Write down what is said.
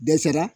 Dɛsɛra